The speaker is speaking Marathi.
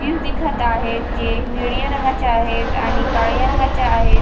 दिखत आहेत जे निळीया रंगाचे आहेत आणि काळ्या रंगाच्या आहेत.